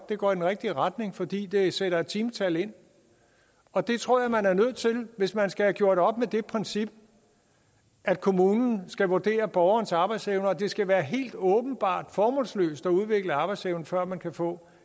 det går i den rigtige retning fordi det sætter et timetal ind og det tror jeg man er nødt til hvis man skal have gjort op med det princip at kommunen skal vurdere borgerens arbejdsevne og det skal være helt åbenbart formålsløst at udvikle arbejdsevnen før man kan få